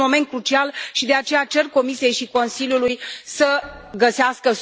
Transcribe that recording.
Este un moment crucial și, de aceea, cer Comisiei și Consiliului să găsească